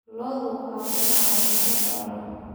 Lo'da waxaa ku dhacay cudurro dhowr ah.